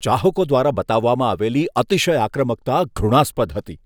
ચાહકો દ્વારા બતાવવામાં આવેલી અતિશય આક્રમકતા ધૃણાસ્પદ હતી.